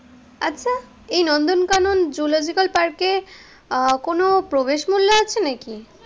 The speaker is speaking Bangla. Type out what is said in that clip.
এই নন্দন কানন জুলজিক্যাল পার্ক এ আহ কোনো প্রবেশ মূল্য আছে নাকি?